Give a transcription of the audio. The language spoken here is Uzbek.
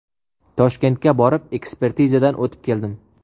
Toshkentga borib, ekspertizadan o‘tib keldim.